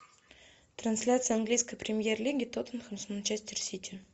трансляция английской премьер лиги тоттенхэм с манчестер сити